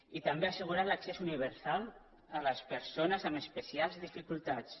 i també as·segurar l’accés universal a les persones amb especials dificultats